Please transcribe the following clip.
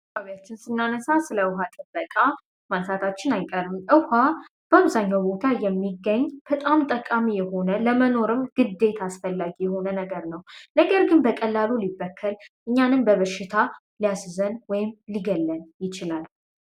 አካባቢያችን ስናነሳ ስለ እውሃ ጥበቃ ማንሳታችን አይቀርም። ውሃ በአብዛኛው ቦታ የሚገኝ በጣም ጠቃሚ የሆነ ለመኖርም ግዴት አስፈላጊ የሆነ ነገር ነው። ነገር ግን በቀላሉ ሊበከል እኛንም በበርሽታ ሊያስዘን ወይም ሊገለን ይችላል።